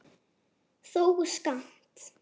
þó skammt.